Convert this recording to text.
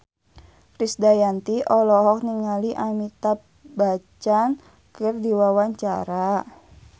Krisdayanti olohok ningali Amitabh Bachchan keur diwawancara